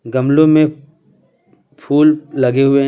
गमलों में फूल लगे हुए हैं।